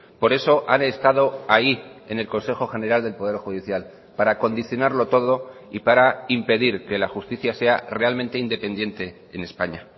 por eso han estado ahí en el consejo general del poder judicial para condicionarlo todo y para impedir que la justicia sea realmente independiente en españa